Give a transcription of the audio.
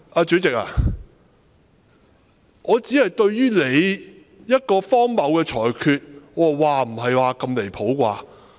主席，我只是對你作出的荒謬裁決，表示"嘩，不是吧！